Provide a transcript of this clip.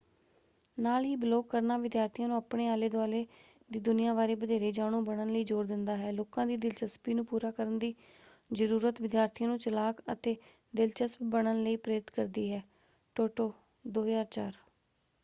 ਨਾਲ ਹੀ ਬਲੌਗ ਕਰਨਾ ਵਿਦਿਆਰਥੀਆਂ ਨੂੰ ਆਪਣੇ ਆਲੇ ਦੁਆਲੇ ਦੀ ਦੁਨੀਆ ਬਾਰੇ ਵਧੇਰੇ ਜਾਣੂ ਬਣਨ ਲਈ ਜ਼ੋਰ ਦਿੰਦਾ ਹੈ। ਲੋਕਾਂ ਦੀ ਦਿਲਚਸਪੀ ਨੂੰ ਪੂਰਾ ਕਰਨ ਦੀ ਜ਼ਰੂਰਤ ਵਿਦਿਆਰਥੀਆਂ ਨੂੰ ਚਲਾਕ ਅਤੇ ਦਿਲਚਸਪ ਬਣਨ ਲਈ ਪ੍ਰੇਰਿਤ ਕਰਦੀ ਹੈ ਟੋਟੋ 2004।